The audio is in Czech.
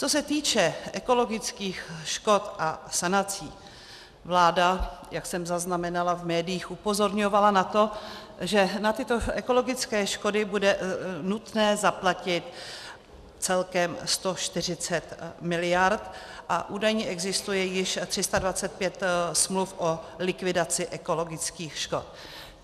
Co se týče ekologických škod a sanací, vláda, jak jsem zaznamenala v médiích, upozorňovala na to, že na tyto ekologické škody bude nutné zaplatit celkem 140 mld. a údajně existuje již 325 smluv o likvidaci ekologických škod.